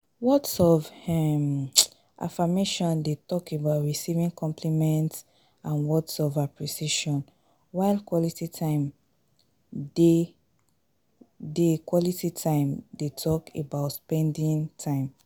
Words of um affirmation dey talk about receiving compliments and words of appreciation while quality time dey quality time dey talk about spending time.